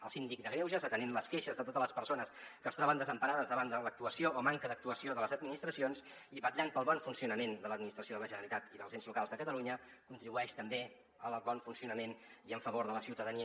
el síndic de greuges atenent les queixes de totes les persones que es troben desemparades davant de l’actuació o manca d’actuació de les administracions i vetllant pel bon funcionament de l’administració de la generalitat i dels ens locals de catalunya contribueix també al bon funcionament i en favor de la ciutadania